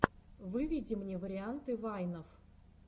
выведи мне варианты вайнов